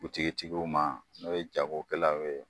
Butigitigiw ma n'o ye jagokɛlaw ye